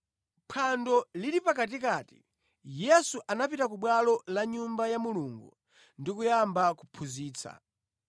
Phwando lili pakatikati, Yesu anapita ku bwalo la Nyumba ya Mulungu ndi kuyamba kuphunzitsa.